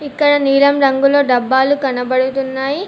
ఇక్కడ నీలం రంగులో డబ్బాలు కనబడుతున్నాయి.